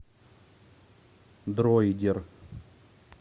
дроидер